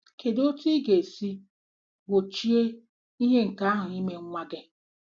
Kedu otú ị ga-esi gbochie ihe nke ahụ ime nwa gị?